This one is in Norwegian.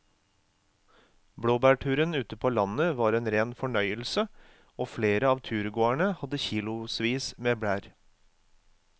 Blåbærturen ute på landet var en rein fornøyelse og flere av turgåerene hadde kilosvis med bær.